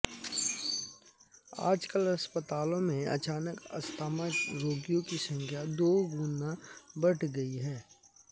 अाजकल अस्पतालों में अचानक अस्थमा रोगियों की संख्या दो गुना बढ़ गई है